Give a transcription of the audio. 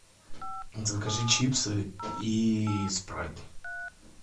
закажи чипсы и спрайт